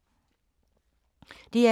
DR2